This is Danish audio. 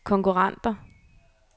konkurrenter